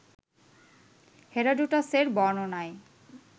হেরোডোটাসের বর্ণনায়